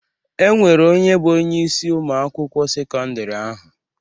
E nwere onye bụ onyeisi Ụmụ akwụkwọ sekọndrị ahụ.